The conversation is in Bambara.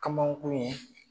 kamankun ye.